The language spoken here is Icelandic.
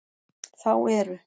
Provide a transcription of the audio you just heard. Þá eru